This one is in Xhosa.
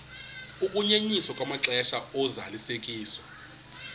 ukunyenyiswa kwamaxesha ozalisekiso